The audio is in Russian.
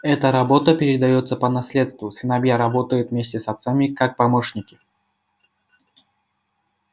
эта работа передаётся по наследству сыновья работают вместе с отцами как помощники